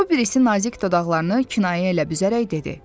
O birisi nazik dodaqlarını kinayə ilə büzərək dedi: